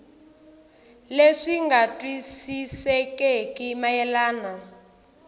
leswi swi nga twisisekeki mayelana